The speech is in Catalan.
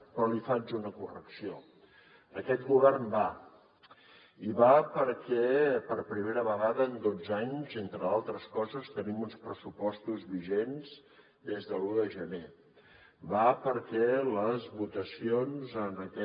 però li faig una correcció aquest govern va i va perquè per primera vegada en dotze anys entre d’altres coses tenim uns pressupostos vigents des de l’un de gener va perquè les votacions en aquest